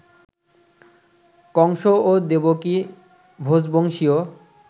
কংস ও দেবকী ভোজবংশীয়